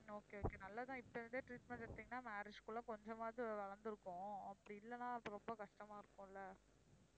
okay okay நல்லது தான் இப்ப இருந்தே treatment எடுத்தீங்கன்னா marriage குல்ல கொஞ்சமாவது வளர்ந்திருக்கும் அப்படி இல்லன்னா அப்புறம் ரொம்ப கஷ்டமா இருக்கும் இல்ல